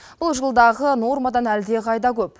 бұл жылдағы нормадан әлдеқайда көп